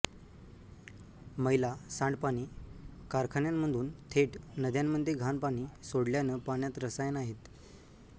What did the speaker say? मैला सांडपाणी कारखान्यांमधून थेट नद्यांमध्ये घाण पाणी सोडल्यानं पाण्यात रसायनं आहेत